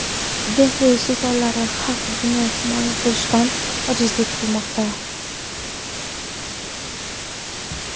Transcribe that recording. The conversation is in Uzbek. Dehli sultonlari haq dinni himoya qilishdan ojizlik qilmoqda.